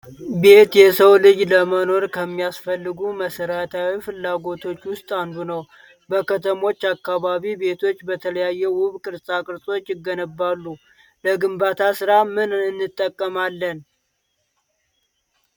ቤት የሰው ልጅ ለመኖር ከሚያስፈልጉት መሰረታዊ ፍላጎቶች ውስጥ አንዱ ነው። በከተሞች አካባቢ ቤቶች በተለያዩ ውብ ቅርፃቅርፆች ይገነባሉ። ለግንባታ ስራ ምን ምን እንጠቀማለን?